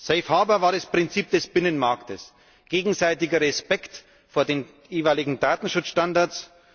Safe harbour war das Prinzip des Binnenmarkts Gegenseitiger Respekt vor den jeweiligen Datenschutzstandards.